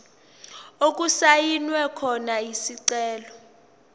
okusayinwe khona isicelo